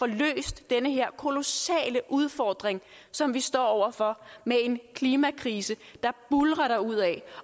løst den her kolossale udfordring som vi står over for med en klimakrise der buldrer derudad